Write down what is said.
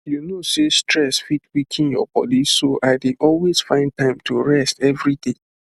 you know sey stress fit weaken your body so i dey always find time rest every day